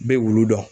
N bɛ wulu dɔn